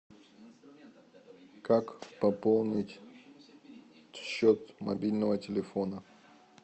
как пополнить счет мобильного телефона